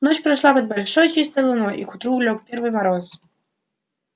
ночь прошла под большой чистой луной и к утру лёг первый мороз